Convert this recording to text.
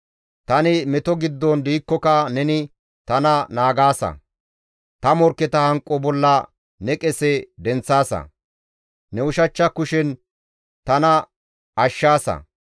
Tani meto giddon diikkoka neni tana naagaasa; ta morkketa hanqo bolla ne qese denththaasa; ne ushachcha kushen tana ashshaasa.